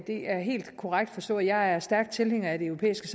det er helt korrekt forstået at jeg er stærk tilhænger af det europæiske